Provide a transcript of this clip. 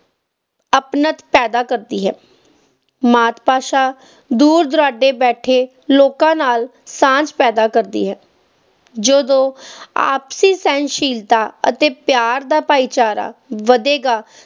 ਅਪਣੱਤ ਪੈਦਾ ਕਰਦੀ ਹੈ, ਮਾਤ ਭਾਸ਼ਾ ਦੂਰ-ਦੁਰਾਡੇ ਬੈਠੇ ਲੋਕਾਂ ਨਾਲ ਸਾਂਝ ਪੈਦਾ ਕਰਦੀ ਹੈ, ਜਦੋਂ ਆਪਸੀ ਸਹਿਨਸ਼ੀਲਤਾ ਅਤੇ ਪਿਆਰ ਦਾ ਭਾਈਚਾਰਾ ਵਧੇਗਾ